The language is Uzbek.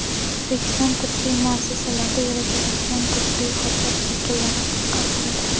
O‘zbekiston tibbiyot muassasalarida yuritiladigan tibbiy hujjat shakllari qisqartirildi.